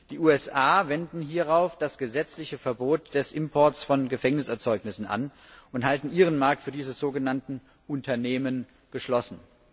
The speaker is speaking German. Die USA wenden hierauf das gesetzliche Verbot des Imports von Gefängniserzeugnissen an und halten ihren Markt für diese sogenannten Unternehmen geschlossen.